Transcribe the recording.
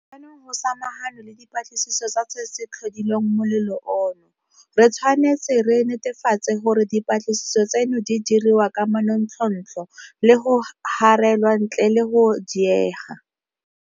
Jaanong go samaganwe le dipatlisiso tsa se se tlhodileng molelo ono. Re tshwanetse re netefatse gore dipatlisiso tseno di diriwa ka manontlhotlho le go garelwa ntle le go diega.